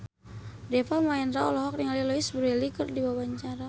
Deva Mahendra olohok ningali Louise Brealey keur diwawancara